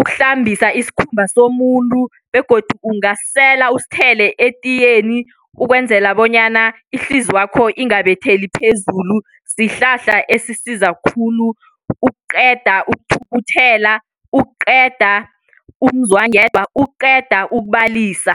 ukuhlambisa isikhumba somuntu begodu ungasela usithele etiyeni ukwenzela bonyana ihlizwakho ingabetheli phezulu. Sihlahla esisiza khulu ukuqeda ukuthukuthela, ukuqeda umzwangedwa, ukuqeda ukubalisa.